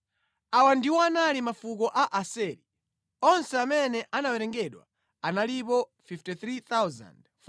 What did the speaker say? Awa ndiwo anali mafuko a Aseri. Onse amene anawerengedwa analipo 53,400.